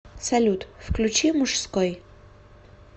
салют включи мужской